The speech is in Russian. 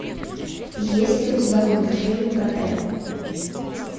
есть ли у тебя мультфильм готэм